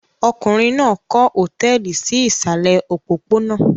Ọkùnrin náà kọ́ hòtẹ́ẹ́lì sí ìsàlẹ̀ òpópónà.